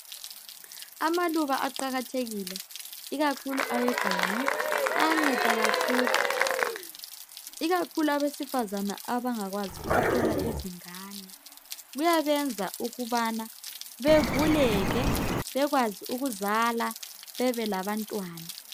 Amaluba aqakathekile ikakhulu aweganga ayanceda kakhulu ikakhulu abesifazana abangakwanisi ukuthola abantwana kuyabenza ukubana bevuleke bekwazi ukuzala bebe labantwana.